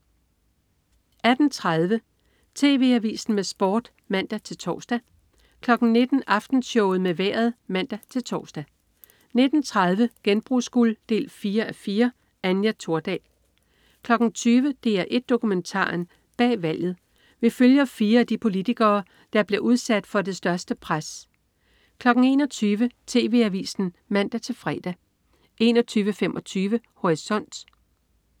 18.30 TV Avisen med Sport (man-tors) 19.00 Aftenshowet med Vejret (man-tors) 19.30 Genbrugsguld 4:4. Anja Thordal 20.00 DR1 Dokumentaren: Bag valget. Vi følger fire af de politikere, der bliver udsat for det største pres 21.00 TV Avisen (man-fre) 21.25 Horisont